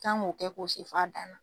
kan k'o kɛ k'o se f'a dan